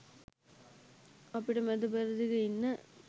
අපිට මැද පෙරදිග ඉන්න